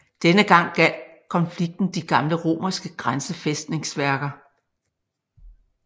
Denne gang gjaldt konflikten de gamle romerske grænsefæstningsværker